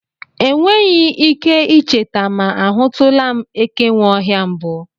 E nweghị ike ị cheta ma a hụtụla m ekenweohia mbụ.